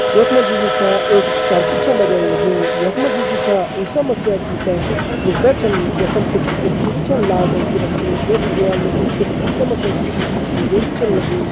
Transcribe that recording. यख मजी जु छ एक चर्च छ लगण लग्युं। यख मजी जु छ ईसा मसिहा जी तैं पूजदा छन। यखम कुछ कुर्सी बि छन लाल रंग की रखीं। यक दिवाल मजी कुछ ईसा मसिहा जी की तस्वीरें बि छन लगीं।